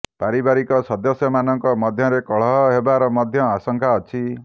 ପାରିବାରିକ ସଦସ୍ୟମାନଙ୍କ ମଧ୍ୟରେ କଳହ ହେବାର ମଧ୍ୟ ଆଶଂକା ଅଛି